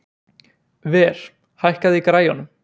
Ver, hækkaðu í græjunum.